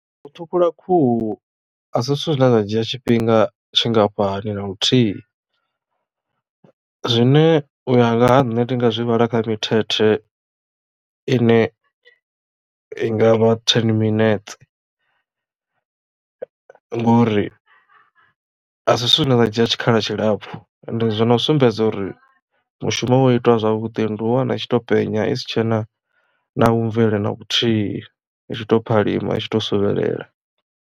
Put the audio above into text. U ṱhukhula khuhu a si zwithu zwine zwa dzhia tshifhinga tshingafhani na luthihi zwine uya nga ha nṋe ndi nga zwi vhala kha mithethe ine i ngavha ten minetse ngori a si zwithu zwine zwa dzhia tshikhala tshilapfu and zwi no sumbedza uri mushumo wa itiwa zwavhuḓi ndi u wana i tshi to penya isi tshena na vhu mvele na vhuthihi i tshi to phalima i tshi to suvhelela.